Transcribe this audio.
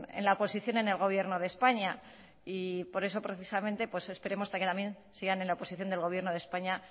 en la oposición en el gobierno de españa por eso esperemos hasta que también sigan en la oposición del gobierno de españa